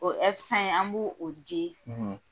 O an b'u u di.